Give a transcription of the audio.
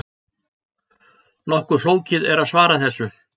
Nokkuð flókið er að svara þessu.